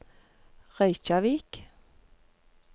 Reykjavík